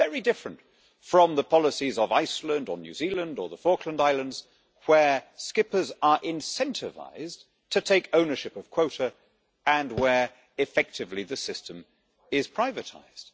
This is very different from the policies of Iceland or New Zealand or the Falkland Islands where skippers are incentivised to take ownership of quota and where effectively the system is privatised.